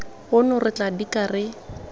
ono re tla dika re